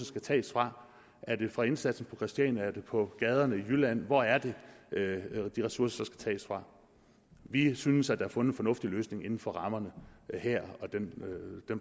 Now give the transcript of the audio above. skal tages fra er det fra indsatsen på christiania er det på gaderne i jylland hvor er det de ressourcer så skal tages fra vi synes der er fundet en fornuftig løsning inden for rammerne her og den